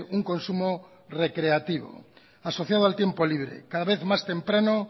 un consumo recreativo asociado al tiempo libre cada vez más temprano